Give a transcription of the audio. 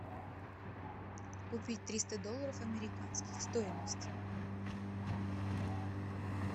купить триста долларов американских стоимость